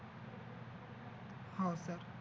हो सर